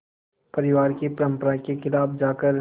परिवार की परंपरा के ख़िलाफ़ जाकर